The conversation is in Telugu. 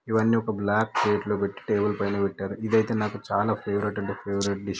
ఇవ్వని ఒక బ్లాక్ ప్లేట్ లో పేటి టేబుల్ ఫై పెట్టారు ఇది ఐతే నాకు చాలా ఫేవోరాటు అంటే ఫేవోరాటు డిష్ --